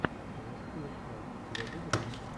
зе скул оф лайф у тебя будет